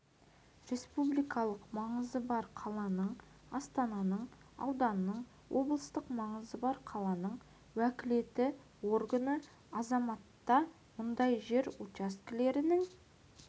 республикалық маңызы бар қаланың астананың ауданның облыстық маңызы бар қаланың уәкілетті органы азаматта мұндай жер учаскелерінің